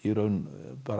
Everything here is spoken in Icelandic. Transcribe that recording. raun